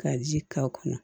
Ka ji k'a kɔnɔ